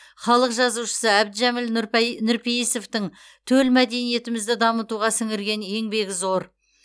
халық жазушысы әбдіжәміл нұрпейісовтің төл мәдениетімізді дамытуға сіңірген еңбегі зор